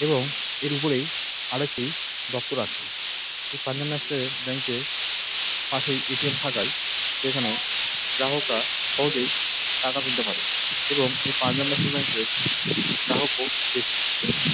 এবং এর উপরেই আরও একটি দপ্তর আছে। এই পাঞ্জাব ন্যাশনাল -এর ব্যাঙ্ক -এর পাশেই এ.টি.এম. থাকায় সেখানে গ্রাহকরা সহজেই টাকা তুলতে পারে এবং এই পাঞ্জাব ন্যাশনাল ব্যাঙ্ক -এর গ্রাহকও বেশি ।